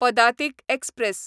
पदातीक express